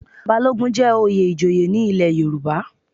Balogun jẹ́ oyè ìjòyè ní ilé Yorùbá.